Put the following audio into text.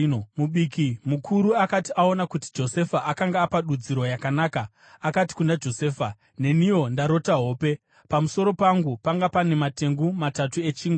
Mubiki mukuru akati aona kuti Josefa akanga apa dudziro yakanaka, akati kuna Josefa, “Neniwo ndarota hope. Pamusoro pangu panga pane matengu matatu echingwa.